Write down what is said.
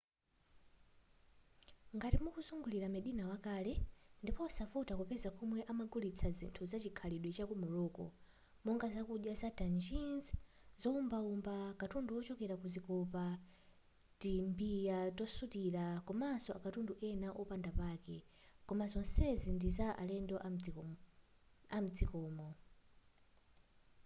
ngati mukuzungulira medina wakale ndiposavuta kupeza komwe amagulitsa zinthu zachikhalidwe chaku morroco monga zakudya za tagines zoumbaumba katundu ochokera ku zikopa timbiya tosutira komaso akatundu ena opanda pake koma zonsezi ndi za alendo amdzikomo